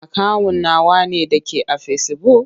Akawun nawa ne da ke a fesibuk?